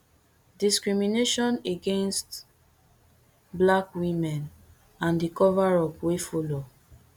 [discrimination against black women] and di coverup wey follow